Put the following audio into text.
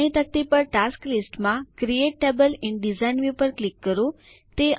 જમણી તકતી પર ટાસ્ટ લિસ્ટ માં create table in design view પર ક્લિક કરો